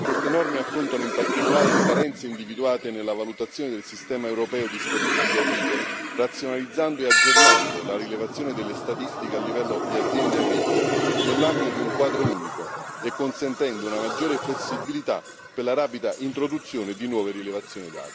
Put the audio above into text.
Tali norme affrontano in particolare le carenze individuate nella valutazione del sistema europeo di statistiche agricole, razionalizzando e aggiornando la rilevazione delle statistiche a livello di aziende agricole, nell'ambito di un quadro unico, e consentendo una maggiore flessibilità per la rapida introduzione di nuove rilevazioni dati.